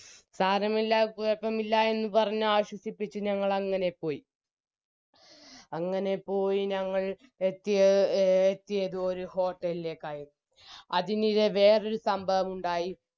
സാരമില്ല കുഴപ്പമില്ല എന്ന് പറഞ്ഞാശ്വസിപ്പിച്ച് ഞങ്ങളങ്ങനെ പോയി അങ്ങനെ പോയി ഞങ്ങൾ എത്തിയ എത്തിയത് ഒരു hotel ലേക്കായിരുന്നു അതിനിടെ വേറൊരു സംഭവമുണ്ടായി